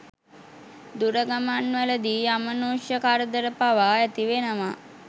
දුරගමන්වලදී අමනුෂ්‍ය කරදර පවා ඇති වෙනවා.